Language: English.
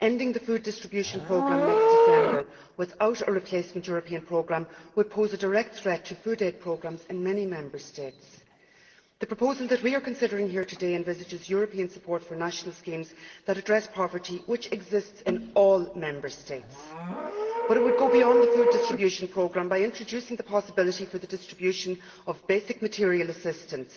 Ending the Food Distribution Programme next December without a replacement European programme would pose a direct threat to food aid programmes in many Member States. The proposal that we are considering today envisages European support for national schemes that address poverty, which exist in all Member States, but it would go beyond the Food Distribution Programme by introducing the possibility for the distribution of basic material assistance.